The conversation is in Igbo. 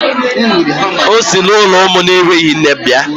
O si n'ụlọ ụmụ na-enweghị nne bịa